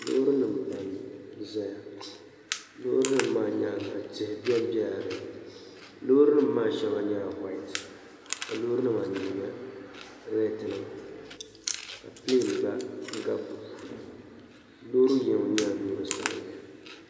Loorinima pam n-zaya loorinima maa nyaaŋa tihi ben bela dinni loorinima maa shɛŋa nyɛla "white" ka loorinima anu nyɛ retinima ka pin gba gabi loori yino nyɛla loori sabinli.